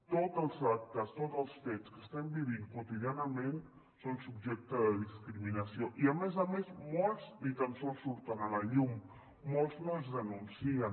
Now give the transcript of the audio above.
tots els actes tots els fets que estem vivint quotidianament són subjecte de discriminació i a més a més molts ni tan sols surten a la llum molts no es denuncien